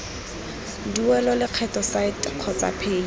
duelwe lekgetho site kgotsa paye